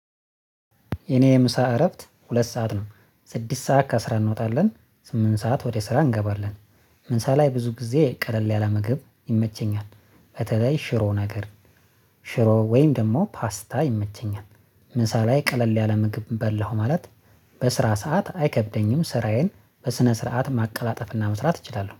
የኔ የምሳ እረፍት ሁለት ሰዓት ነው ስድስት ሰዓት ከስራ እንወጣለን ስምንት ሰዓት ወደ ስራ እንገባለን። ምሳ ላይ ብዙ ጊዜ ቀለል ያለ ምግብ ይመቸኛል። በተለይ ሽሮ ነገር ሽሮ ወይም ደግሞ ፓስታ ይመቸኛል። ምሳ ላይ ቀለል ያለ ምግብ በላው ማለት። በስራ ሰዓት አይከብደኝም ስራዬን በስነ ስርዓት ማቀላጠፍና መስራት እችላለሁ